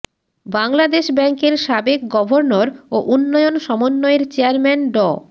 বাংলাদেশ ব্যাংকের সাবেক গভর্নর ও উন্নয়ন সমন্বয়ের চেয়ারম্যান ড